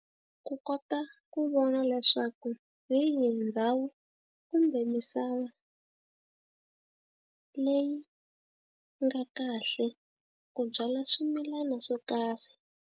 Ku kota ku vona leswaku hi yihi ndhawu kumbe misava leyi nga kahle ku byala swimilana swo karhi.